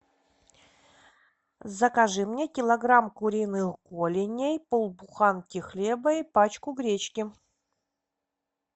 закажи мне килограмм куриных голеней пол буханки хлеба и пачку гречки